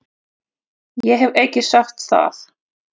Ég hef ekki sagt það!